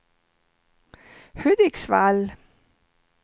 Hudiksvall